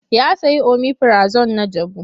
Ya sayi omifirazon na jabu.